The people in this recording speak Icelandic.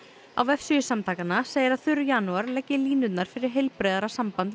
á vefsíðu samtakanna segir að þurr janúar leggi línurnar fyrir heilbrigðara samband við